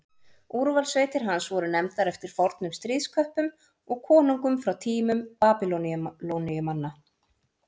Úrvalssveitir hans voru nefndar eftir fornum stríðsköppum og konungum frá tímum Babýloníumanna.